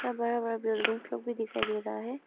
और बड़ा बड़ा बिल्डिंग्स भी दिखाई दे रहा है।